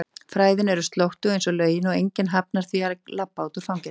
fræðin er slóttug einsog lögin og enginn hafnar því að labba út úr fangelsi.